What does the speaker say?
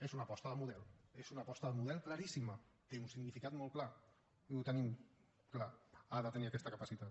és una aposta de model és una aposta de model claríssima té un significat molt clar i ho tenim clar ha de tenir aquesta capacitat